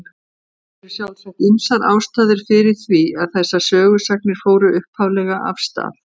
Það eru sjálfsagt ýmsar ástæður fyrir því að þessar sögusagnir fóru upphaflega af stað.